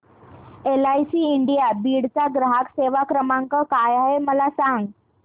LIC India Beed चा ग्राहक सेवा क्रमांक काय आहे मला सांग